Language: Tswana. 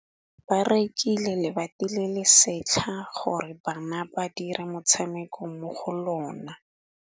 Ba rekile lebati le le setlha gore bana ba dire motshameko mo go lona.